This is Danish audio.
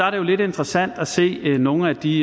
jo lidt interessant at se nogle af de